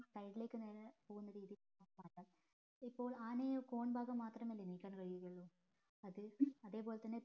side ലേക്ക് നേരേ പോകുന്ന രീതിയാണ് ഇപ്പൊ ആനയെ corn ഭാഗം മാത്രമല്ലെ നീക്കാൻ കഴിയു ഉള്ളു അത്അ തെ പോലെ തന്നെ